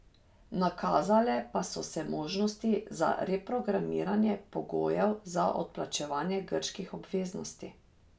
Nakazale pa so se možnosti za reprogramiranje pogojev za odplačevanje grških obveznosti.